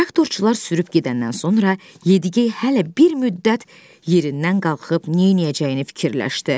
Traktorçular sürüb gedəndən sonra Yedi-gey hələ bir müddət yerindən qalxıb neyləyəcəyini fikirləşdi.